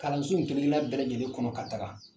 Kalansow kelenkelenna bɛɛ lajɛlen kɔnɔ ka taga